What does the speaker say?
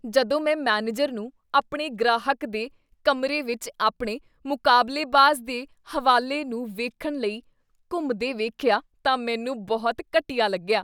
ਜਦੋਂ ਮੈਂ ਮੈਨੇਜਰ ਨੂੰ ਆਪਣੇ ਗ੍ਰਾਹਕ ਦੇ ਕਮਰੇ ਵਿੱਚ ਆਪਣੇ ਮੁਕਾਬਲੇਬਾਜ਼ ਦੇ ਹਵਾਲੇ ਨੂੰ ਵੇਖਣ ਲਈ ਘੁੰਮਦੇ ਵੇਖਿਆ ਤਾਂ ਮੈਨੂੰ ਬਹੁਤ ਘਟੀਆ ਲੱਗਿਆ।